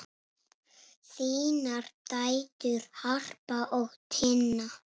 Þínar dætur, Harpa og Tinna.